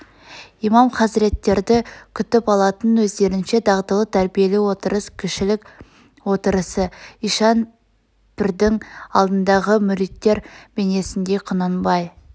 имам хазреттерді күтіп алатын өздерінше дағдылы тәрбиелі отырыс кішілік отырысы ишан пірдің алдындағы мүриттер бейнесіндей құнанбай